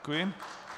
Děkuji.